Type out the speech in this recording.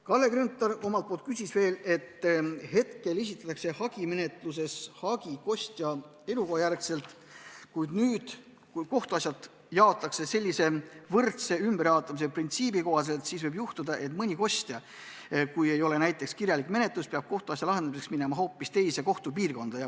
Kalle Grünthal küsis selle kohta, et praegu esitatakse hagimenetluses hagi kostja elukoha järgselt, aga kui kohtuasjad jaotatakse võrdse ümberjaotamise printsiibi kohaselt, siis võib juhtuda, et kui ei ole kirjalik menetlus, siis peab kohtuasja lahendamiseks minema hoopis teise kohtupiirkonda.